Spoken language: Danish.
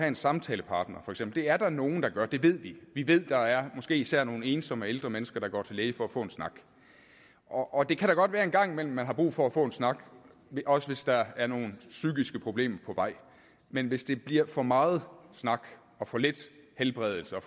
en samtalepartner det er der nogle der gør det ved vi vi ved at der er måske især nogle ensomme ældre mennesker der går til lægen for at få en snak og det kan godt være at man en gang imellem har brug for at få en snak også hvis der er nogle psykiske problemer på vej men hvis det bliver for meget snak og for lidt helbredelse og